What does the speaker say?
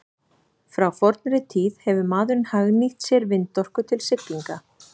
Frá fornri tíð hefur maðurinn hagnýtt sér vindorku til siglinga.